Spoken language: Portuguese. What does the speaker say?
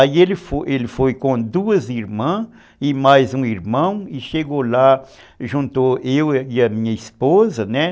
Aí ele foi ele foi com duas irmãs e mais um irmão e chegou lá, juntou eu e a minha esposa, né?